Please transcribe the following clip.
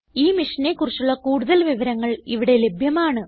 ഈ മിഷനെ കുറിച്ചുള്ള കുടുതൽ വിവരങ്ങൾ ഇവിടെ ലഭ്യമാണ്